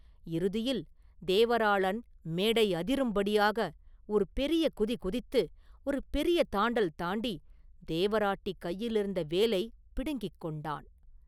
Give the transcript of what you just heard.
இறுதியில் தேவராளன் மேடை அதிரும்படியாக ஒரு பெரிய குதிகுதித்து, ஒரு பெரிய தாண்டல் தாண்டி தேவராட்டி கையிலிருந்த வேலைப் பிடுங்கிக் கொண்டான்.